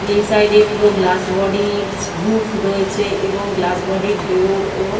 এই সাইড এ পুরো গ্লাস বডি -এর রুফ রয়েছে এবং গ্লাস বডি -এর ডোর ও--